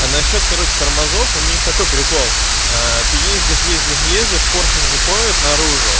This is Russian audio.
а насчёт короче тормозов у них какой прикол ээ ты ездишь ездишь ездишь поршень выходит наружу